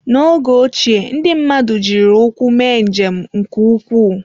N'oge ochie, ndị mmadụ jiri ụkwụ mee njem nke ukwuu.